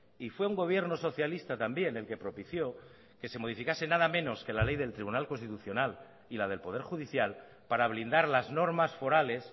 y fue un gobierno socialista también el que propició que se modificase nada menos que la ley del tribunal constitucional y la del poder judicial para blindar las normas forales